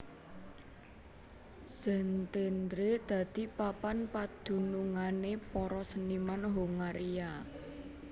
Szentendre dadi papan padunungané para seniman Hongaria